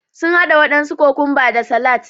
Sun haɗa waɗansu kokumba da salat